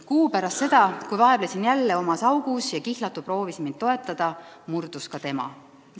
Kuu pärast seda, kui vaevlesin jälle omas augus ja kihlatu proovis mind toetada, murdus ka tema.